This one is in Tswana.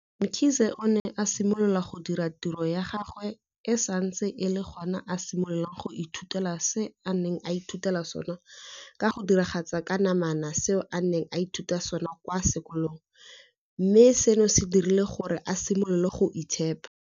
Mkhize o ne a simolola go dira tiro ya gagwe e santse e le gona a simolola go ithutela se a neng a ithutela sona ka go diragatsa ka namana seo a neng a ithuta sona kwa sekolong, mme seno se dirile gore a simolole go itshepa.